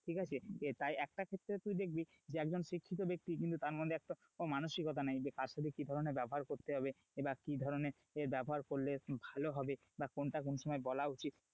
ঠিক আছে তাই একটা ক্ষেত্রে তুই দেখবি যে একজন শিক্ষিত ব্যক্তি কিন্তু তার মধ্যে একটাও মাওসিকতা নেই, যে কার সাথে কি ধরনের ব্যবহার করতে হবে বা কি ধরনের ব্যবহার করলে ভালো হবে, বা কোনটা কোন সময় বলা উচিত,